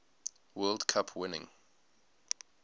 world cup winning